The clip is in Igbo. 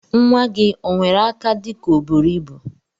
Nwa gi onwere aka dika oburu ibu?